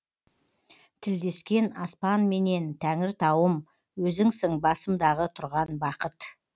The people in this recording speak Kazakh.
тілдескен аспанменен тәңіртауым өзіңсің басымдағы тұрған бақыт